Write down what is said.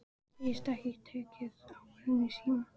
Segist ekki geta tekið ákvörðun í síma.